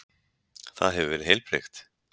Það hefur verið heilbrigt?